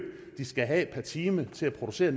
de skal have per time til at producere